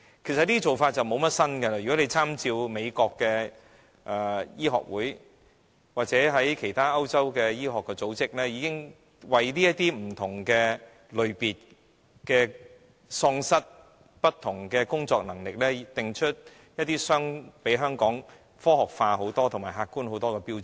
這些評估方法其實不是新事物，當局大可參照美國的醫學會或歐洲的其他醫學組織，看看如何為不同類別喪失工作能力的人定出遠較香港科學化和客觀的標準。